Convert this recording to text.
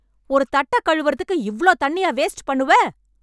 ஒரு தட்டக் கழுவறதுக்கு இவ்ளோத் தண்ணியா வேஸ்ட் பண்ணுவே...